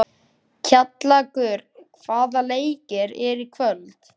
Kjallakur, hvaða leikir eru í kvöld?